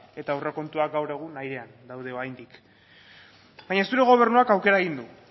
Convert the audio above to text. eta aurrekontuak gaur egun airean daude oraindik baina zure gobernuak aukera egin du